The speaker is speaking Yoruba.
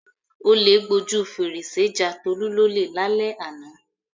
Olè gbojú fèrèsé ja Tolú lólè lálẹ́ àná.